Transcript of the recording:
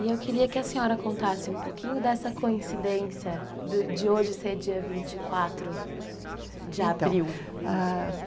E eu queria que a senhora contasse um pouquinho dessa coincidência de hoje ser dia 24 de abril. Então, ah,